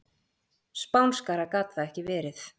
Spánskara gat það ekki verið.